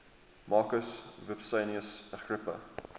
marcus vipsanius agrippa